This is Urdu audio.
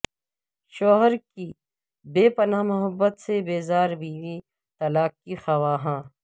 شوہر کی بے پناہ محبت سے بیزار بیوی طلاق کی خواہاں